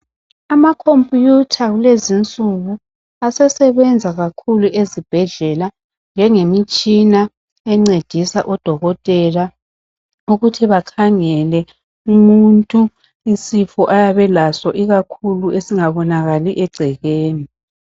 Ama"computer" kulezinsuku asesebenza kakhulu ezibhedlela njenge mitshina encedisa odokotela ukuthi bakhangele umuntu isifo ayabe elaso ikakhulu esingabonakali egcekeni.